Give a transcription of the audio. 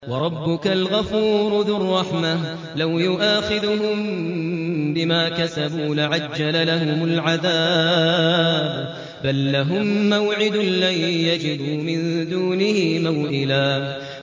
وَرَبُّكَ الْغَفُورُ ذُو الرَّحْمَةِ ۖ لَوْ يُؤَاخِذُهُم بِمَا كَسَبُوا لَعَجَّلَ لَهُمُ الْعَذَابَ ۚ بَل لَّهُم مَّوْعِدٌ لَّن يَجِدُوا مِن دُونِهِ مَوْئِلًا